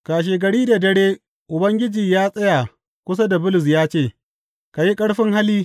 Kashegari da dare Ubangiji ya tsaya kusa da Bulus ya ce, Ka yi ƙarfin hali!